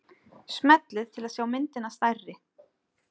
Smellið til að sjá myndina stærri.